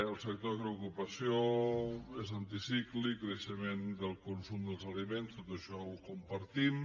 el sector crea ocupació és anticíclic creixement del consum dels aliments tot això ho compartim